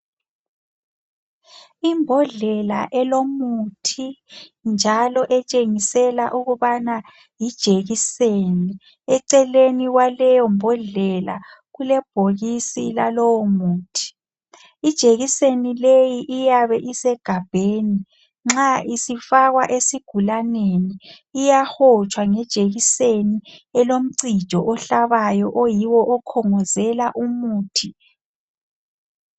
Ibhodlela olumuthi njalo etshengisela ukuba yijekiseni. Eceleni kwaleyo bhodlela kule bhokisi layomuthi. Ijekiseni leyi iyabe isegabheni, nxa isifakwa esigulaneni iyahotshwa ngejekiseni, elomcijo ihlabayo oyiwo okongozela umuthi.